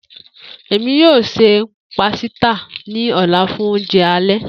Emi yoo ṣe pasita ni ọla fun ounjẹ alẹ.